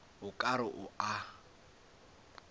o ka re o a